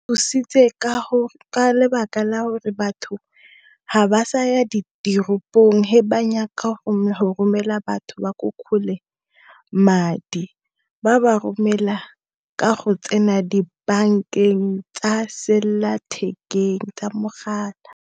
Thusitse ka lebaka la gore batho ga ba saya diteropong he banyaka go romela batho ba ko kgole madi ba ba romela ka go tsena dibankeng tsa selela thekeng ka mogala.